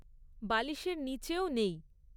বালিশের নিচেও নেই৷